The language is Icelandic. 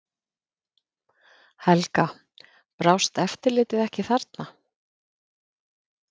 Helga: Brást eftirlitið ekki þarna?